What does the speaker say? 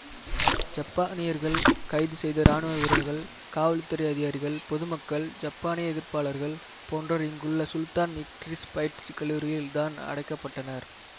ஜப்பானியர்கள் கைது செய்த இராணுவ வீரர்கள் காவல் துறை அதிகாரிகள் பொது மக்கள் ஜப்பானிய எதிர்ப்பாளர்கள் போன்றோர் இங்குள்ள சுல்தான் இட்ரிஸ் பயிற்சி கல்லூரியில் தான் அடைக்க பட்டனர்